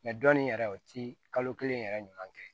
dɔnni yɛrɛ o ti kalo kelen yɛrɛ ɲuman kɛ